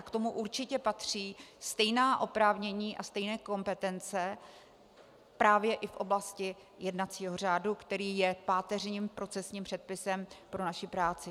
A k tomu určitě patří stejná oprávnění a stejné kompetence právě i v oblasti jednacího řádu, který je páteřním procesním předpisem pro naši práci.